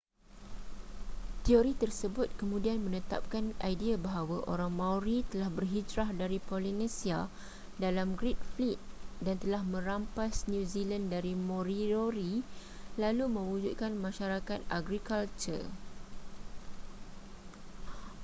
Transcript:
teori tersebut kemudian menetapkan idea bahawa orang maori telah berhijrah dari polinesia dalam great fleet dan telah merampas new zealand dari moriori lalu mewujudkan masyarakat agrikultur